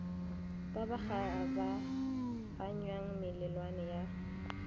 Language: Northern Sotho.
ba ba kgabaganyang melelwane ya